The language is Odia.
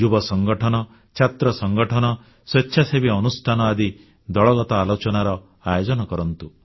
ଯୁବ ସଂଗଠନ ଛାତ୍ର ସଂଗଠନ ସ୍ୱେଚ୍ଛାସେବୀ ଅନୁଷ୍ଠାନ ଆଦି ଦଳଗତ ଆଲୋଚନାର ଆୟୋଜନ କରନ୍ତୁ